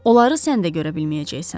Onları sən də görə bilməyəcəksən.